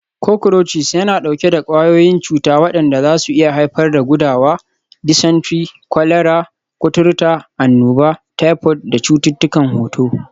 Cockroaches yana ɗauke da ƙwayoyin cuta waɗanda zasu iya haifar da gudawa, dysentery, kwalara, kuturta, annoba, typhoid da cututtukan hoto.